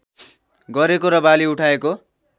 गरेको र बाली उठाएको